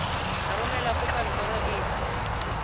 ka romelwa go kantoro efe